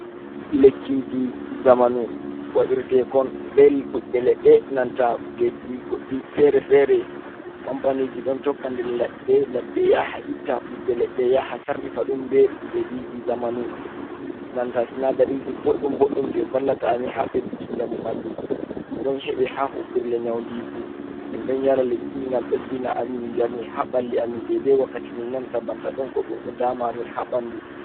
Lekkiji zamanu waɗirtekon be ɓiɓɓe leɗɗe nanta kujeji goɗɗi fere-fere kampaniji ɗon tokka nder ladde ladde yaha itta ɓiɓɓe leɗɗe ya ha sarrifa ɗum be kujejiji zamanu, nanta sinadariji ɓoɗɗum boɗɗum je vallata amin ha ɓeddinki njamu ɓandu, ɗum ɗon heɓe ha huɓirle nyaundiku min ɗon yara lekkiji ngam ɓeddina amin njamu ha ɓalli amin dede wakkati min nanata banta ɗon ko ɗum ɗo dama amin ha ɓandu.